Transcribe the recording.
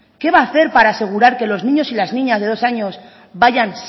qué va a hacer para asegurar que los niños y las niñas de dos años vayan